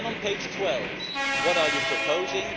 Then on page 12, what are you proposing?